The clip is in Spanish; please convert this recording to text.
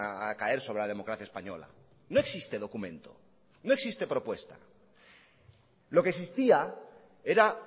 a caer sobre la democracia española no existe documento no existe propuesta lo que existía era